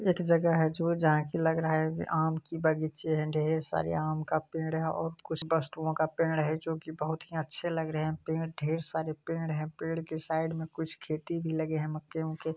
एक जगह है जो जहा की लग रहा है वे आम की बगीचे हैं ढेर सारे आम का पेड़ है और कुछ वस्तुओ का पेड़ है जो की बहुत ही अच्छे लग रहे हैं पेड़ ढेर सारे पेड़ है पेड़ के साइड में कुछ खेती भी लगे हैं मक्के-वक्के --